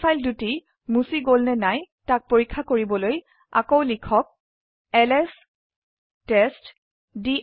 এই ফাইল দুটি মুছি গল নে নাই তাক পৰীক্ষা কৰিবলৈ আকৌ লিখক এলএছ টেষ্টডিৰ